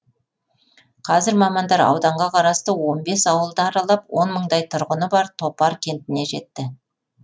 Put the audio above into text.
қазір мамандар ауданға қарасты он бес ауылды аралап он мыңдай тұрғыны бар топар кентіне жетті